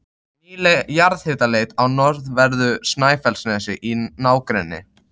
Nýleg jarðhitaleit á norðanverðu Snæfellsnesi í nágrenni